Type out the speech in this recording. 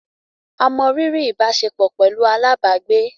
A mọ riri ìbáṣepọ̀ pẹlú alábàágbé